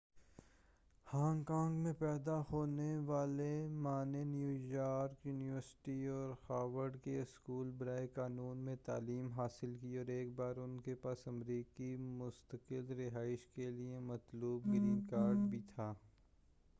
Hong Kong میں پیدا ہونے والے ما نے نیویارک یونیورسٹی اور ہارورڈ کے اسکول برائے قانون میں تعلیم حاصل کی اور ایک بار ان کے پاس امریکی مستقل رہائش کیلئے مطلوب گرین کارڈ بھی تھا